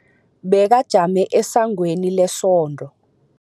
Bekajame esangweni lesonto.